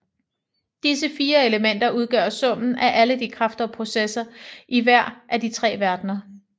Disse fire elementer udgør summen af alle de kræfter og processer i hver af de tre verdener